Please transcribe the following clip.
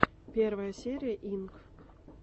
первая серия инк